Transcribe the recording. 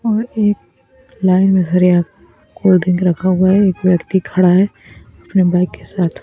और एक लाइन में कोलड्रिंक रखा हुआ है एक व्यक्ति खड़ा है अपने बाइक के साथ--